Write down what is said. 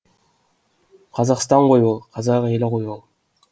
қазақстан ғой ол қазақ елі ғой ол